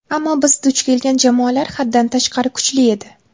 Ammo biz duch kelgan jamoalar haddan tashqari kuchli edi.